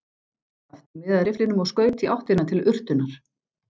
Skapti miðaði rifflinum og skaut í áttina til urtunnar.